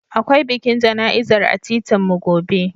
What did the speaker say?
Akwai bikin jana'izar a titinmu gobe.